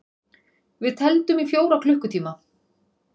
Við tefldum í fjóra klukkutíma!